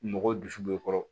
Mɔgɔw dusu b'i kɔrɔ